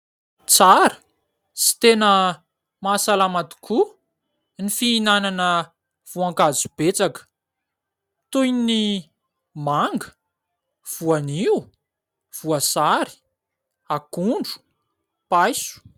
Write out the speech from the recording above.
Tsara sy tena mahasalama tokoa ny fihinanana voankazo betsaka, toy ny : manga, voanio, voasary, akondro, paiso.